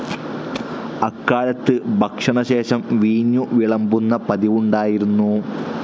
അക്കാലത്ത് ഭക്ഷണശേഷം വീഞ്ഞു വിളമ്പുന്ന പതിവുണ്ടായിരുന്നു.